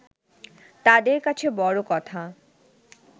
তাঁদের কাছে বড় কথা